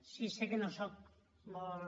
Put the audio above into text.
sí sé que no sóc molt